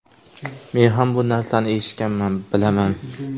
Men ham bu narsani eshitganman, bilaman.